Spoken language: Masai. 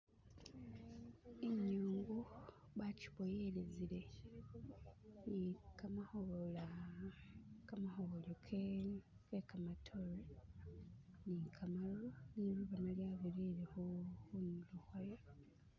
Inyungu bagiboyelele gamakoola, gamakobolo ge gamadote ni gamatu. Litu bona lyabitile kuntulo kwayo.